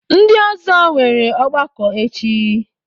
Ndị ọzọ nwere ọgbakọ echi.